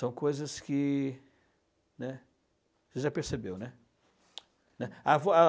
São coisas que, né... Você já percebeu, né?